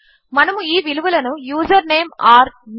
మనము ఈ విలువలను యూజర్నేమ్ ఓర్ no